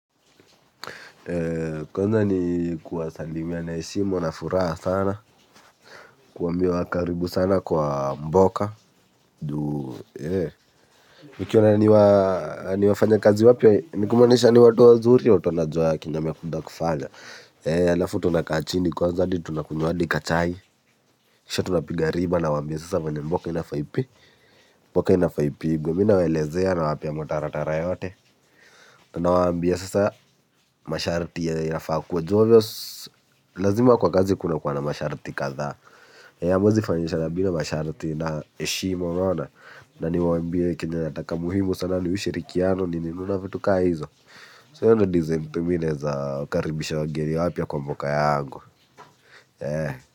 Kwanza ni kuwasalimia na heshimu na furaha sana kuwambia wa karibu sana kwa mboka nikiona ni wafanya kazi wapya ni kumaanisha ni watu wa zuri watu wanajua kenye wamekuja kufanya. Alafu tunakaa chini kwa hadi tunakunya hadi kachai. Kisha tunapigariba nawambia sasa venye mboka inafaipi. Mboka inafaa ipigwa mi na welezea nawapea mtaratara yote. Nawambia sasa masharti ya inafakuwa Jovio lazima kwa kazi kuna kwa na masharti kadha hamwezi fanyishina bila masharti na heshima unaona niwambie kenye nataka muhimu sana ni ushirikiano ni nini vitu kaa hizo So hiyo ndo design ndo mi naeza wakaribisha wangeni wapya kwa mboka yangu.